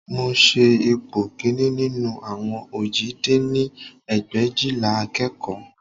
Mo ṣe ipò kìíní nínú àwọn òjì dín ní ẹgbẹ̀éjìlá akẹ́kọ̀ọ́